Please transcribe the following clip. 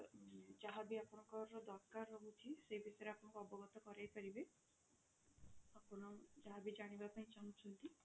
ଯାହା ବି ଆପଣଙ୍କର ଦରକାର ରହୁଛି ସେ ବିଷୟରେ ଆପଣଙ୍କୁ ଅବଗତ କରାଇ ପାରିବେ ଆପଣ ଯାହା ବି ଜାଣିବା ପାଇଁ ଚାହୁଁଛନ୍ତି